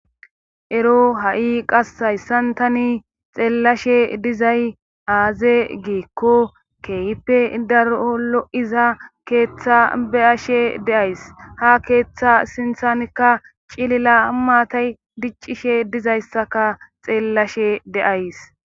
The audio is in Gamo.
ero ha7i qas hayssantani xeellashe dizay aaze giikko kehippe daro lo7iza keeththa beyashe de'ays ha keeththa sinthanikka cilila maatay diccishe dizayssaka xeellashe de'ays